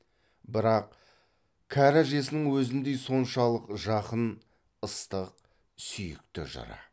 бірақ кәрі әжесінің өзіндей соншалық жақын ыстық сүйікті жыры